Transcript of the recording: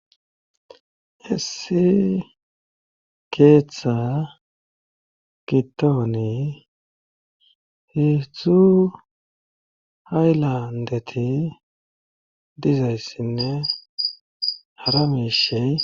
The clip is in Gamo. Issi keeththa gitooni heedzudtzu hay landeti dizayssinne hara mishey